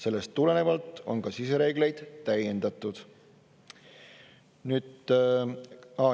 Sellest tulenevalt on ka sisereegleid täiendatud.